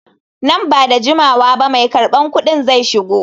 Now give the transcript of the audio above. Nan ba da jimawa ba mai karban kuɗin zai shigo.